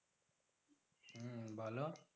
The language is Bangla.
হম বলো।